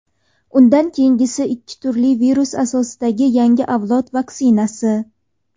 Undan keyingisi ikki turli virus asosidagi yangi avlod vaksinasi.